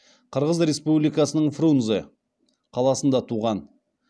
қырғыз республикасының фрунзе қаласында туған